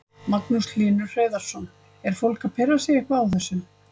Magnús Hlynur Hreiðarsson: Er fólk að pirra sig eitthvað á þessu?